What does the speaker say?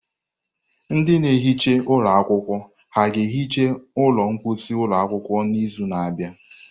Ndị na-ehicha ụlọ akwụkwọ ha ga-ehicha ụlọ mposi ụlọ akwụkwọ n'izu na-abịa?